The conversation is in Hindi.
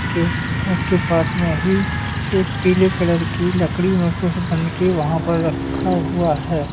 उसके पास में ही एक पीले कलर की लकड़ी में कुछ बनके वहां पर रखा हुआ है।